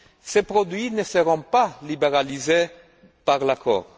Ces produits ne seront pas libéralisés par l'accord.